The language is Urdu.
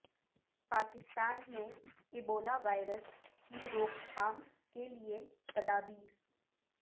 پاکستان میں ایبولا وائرس کی روک تھام کے لیے تدابیر